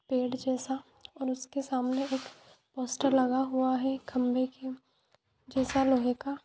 पेड़ जैसा और उसके सामने एक पोस्टर लगा हुआ है खंभे के जैसा लोहे का।